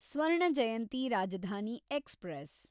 Swarna Jayanti Rajdhani express